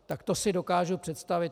Tak to si dokážu představit.